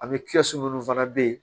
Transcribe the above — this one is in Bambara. A bɛ minnu fana bɛ yen